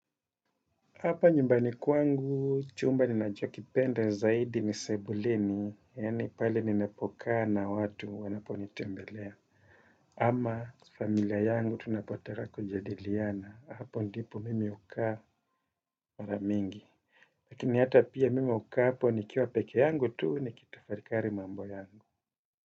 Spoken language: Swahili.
Hapa nyumbani kwangu, chumba ninacho kipenda zaidi ni sebuleni, yani pali ninapo kaa na watu wanapo nitembelea. Ama familia yangu tunapotaka kujadiliana. Hapo ndipo mimi hukaa maramingi. Lakini hata pia mimi hukaa hapo nikiwa peke yangu tu, nikitafarikari mambo yangu.